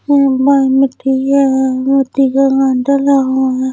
डला हुआ है।